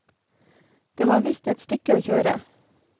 Det var visst et stykke å kjøre.